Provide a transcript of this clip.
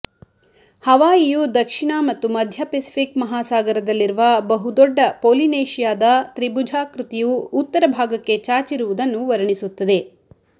ಹವಾಯಿಯು ದಕ್ಷಿಣ ಮತ್ತು ಮಧ್ಯೆ ಫೆಸಿಪಿಕ್ ಮಹಾಸಾಗರದಲ್ಲಿರುವ ಬಹುದೊಡ್ಡ ಪೊಲಿನೇಷಿಯಾದ ತ್ರಿಭುಜಾಕೃತಿಯು ಉತ್ತರ ಭಾಗಕ್ಕೆ ಚಾಚಿರುವುದನ್ನು ವರ್ಣಿಸುತ್ತದೆ